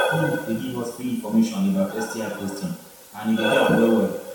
our clinic they give us free information about sti testing and e they help well well